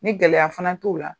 Ni gɛlɛya fana t'o la